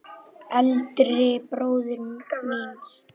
Eldri bróður míns?